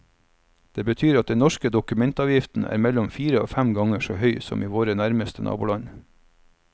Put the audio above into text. Det betyr at den norske dokumentavgiften er mellom fire og fem ganger så høy som i våre nærmeste naboland.